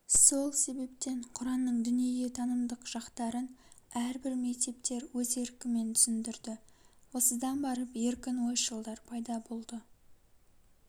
сол себептен құранның дүниетанымдық жақтарын әрбір мектептер өз еркімен түсіндірді осыдан барып еркін ойшылдар пайда болды